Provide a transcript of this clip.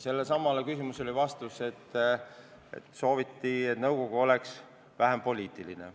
Selle vastus kõlas, et sooviti, et nõukogu oleks vähem poliitiline.